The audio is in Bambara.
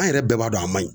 An yɛrɛ bɛɛ b'a dɔn a man ɲi